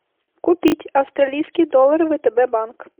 купить австралийский доллар втб банк